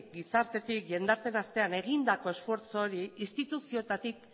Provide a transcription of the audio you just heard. gizartetik jendarteen artean egindako esfortzu hori instituzioetatik